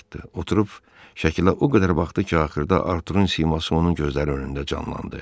Oturub şəkilə o qədər baxdı ki, axırda Arturun siması onun gözləri önündə canlandı.